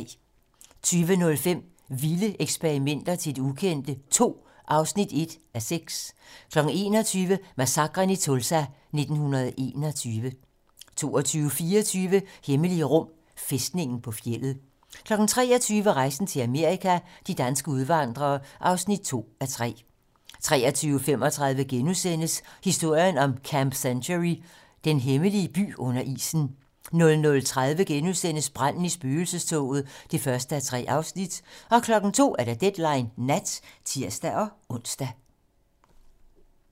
20:05: Vilde ekspeditioner til det ukendte II (1:6) 21:00: Massakren i Tulsa 1921 22:24: Hemmelige rum: Fæstningen på fjeldet 23:00: Rejsen til Amerika - de danske udvandrere (2:3) 23:35: Historien om Camp Century: Den hemmelige by under isen * 00:30: Branden i spøgelsestoget (1:3)* 02:00: Deadline nat (tir-ons)